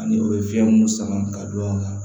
Ani o ye fɛn mun sama ka don a kan